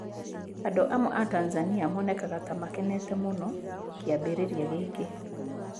Andũ amwe a Tanzania monekaga ta makene mũno kĩambĩrĩria gĩkĩ.